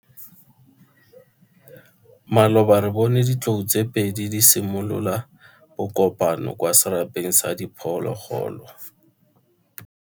Maloba re bone ditlou tse pedi di simolola bokopano kwa serapeng sa diphologolo.